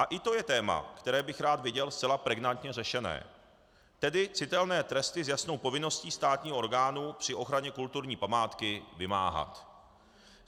A i to je téma, které bych rád viděl zcela pregnantně řešené, tedy citelné tresty s jasnou povinností státního orgánu při ochraně kulturní památky vymáhat.